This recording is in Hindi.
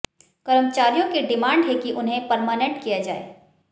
कर्मचारियों की डिमांड है कि उन्हें परमानेंट किया जाए